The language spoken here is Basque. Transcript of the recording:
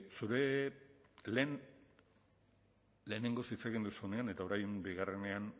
zure lehen lehenengoz hitz egin duzunean eta orain bigarrenean